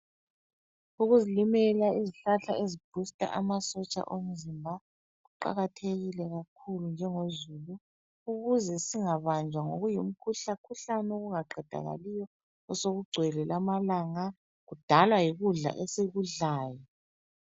Ukuzilimela izihlahla ezibooster amasotsha omzimba kuqakathekile kakhulu njengozulu, ukuze singabanjwa ngokuyimikhuhlakhuhlane okungaqedakaliyo osekugcwele lamalanga. Ukudalwa yikudla esikudlayo.